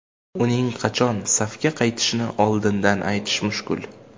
Uning qachon safga qaytishini oldindan aytish mushkul.